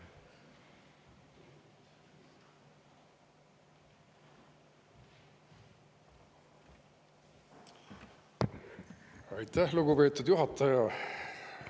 Aitäh, lugupeetud juhataja!